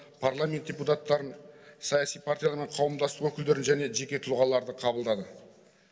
парламент депутаттарын саяси партиялар мен қауымдастық өкілдерін және жеке тұлғаларды қабылдады